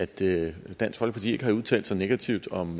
det at dansk folkeparti ikke havde udtalt sig negativt om